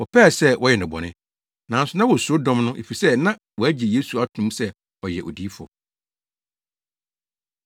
wɔpɛɛ sɛ wɔyɛ no bɔne, nanso na wosuro dɔm no efisɛ na wɔagye Yesu ato mu sɛ ɔyɛ Odiyifo.